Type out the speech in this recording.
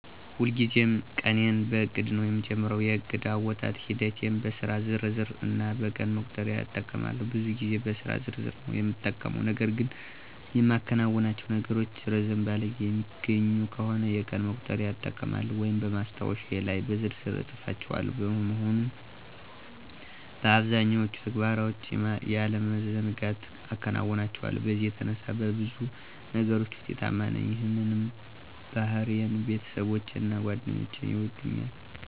ሁልጊዜም ቀኔን በዕቅድ ነዉ የምጀምረው። የእቅድ አወጣጥ ሂደቴም በስራ ዝርዝር እና በቀን መቁጠሪያ እጠቀማለሁ። ብዙ ጊዜ በስራ ዝርዝር ነዉ የምጠቀመው .ነገር ግን የማከናውናቸው ነገሮች ረዘም ባለ ጊዜ የሚገኙ ከሆነ የቀን መቁጠሪያ እጠቀማለሁ ወይም በማስታወሻዬ ላይ በዝርዝር እፅፋቸዋለሁ። በመሆኑም አብዛኛዎቹን ተግባሮችን ያለመዘንጋት አከናውናቸዋለሁ በዚህም የተነሳ በብዙ ነገሮች ውጤታማ ነኝ ይህንንም ባህሪዬን ቤተሰቦቼና ጓደኞቼ ይወዱልኛል።